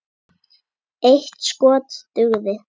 Eitt skot dugði.